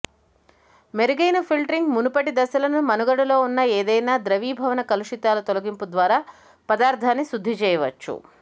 మెరుగైన ఫిల్టరింగ్ మునుపటి దశలను మనుగడలో ఉన్న ఏదైనా ద్రవీభవన కలుషితాల తొలగింపు ద్వారా పదార్థాన్ని శుద్ధి చేయవచ్చు